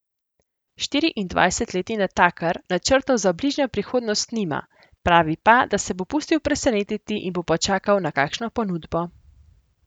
Štiriindvajsetletni natakar načrtov za bližnjo prihodnost nima, pravi pa, da se bo pustil presenetiti in bo počakal na kakšno ponudbo.